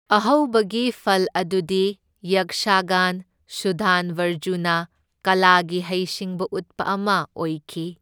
ꯑꯍꯧꯕꯒꯤ ꯐꯜ ꯑꯗꯨꯗꯤ ꯌꯛꯁꯥꯒꯥꯟ ꯁꯨꯗꯥꯟꯕꯔꯖꯨꯅ ꯀꯂꯥꯒꯤ ꯍꯩ ꯁꯤꯡꯕ ꯎꯠꯄ ꯑꯃ ꯑꯣꯏꯈꯤ꯫